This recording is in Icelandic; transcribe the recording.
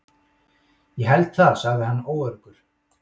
Ég held það sagði hann óöruggur.